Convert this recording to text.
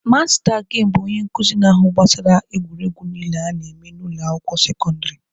Masta gemụ bụ onye nkuzi na-ahụ gbasara egwuregwu niile a na-eme na ụlọ akwụkwọ sekọndịrị.